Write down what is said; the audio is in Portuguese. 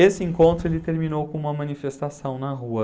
Esse encontro ele terminou com uma manifestação na rua.